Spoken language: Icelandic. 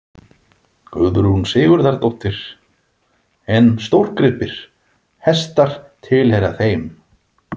Guðrún Sigurðardóttir: En stórgripir, hestar tilheyra þeim?